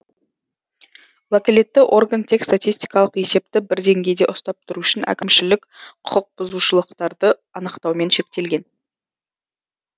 уәкілетті орган тек статистикалық есепті бір деңгейде ұстап тұру үшін әкімшілік құқықбұзушылықтарды анықтаумен шектелген